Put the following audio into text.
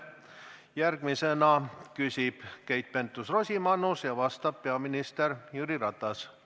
Järgmisena küsib Keit Pentus-Rosimannus ja vastab peaminister Jüri Ratas.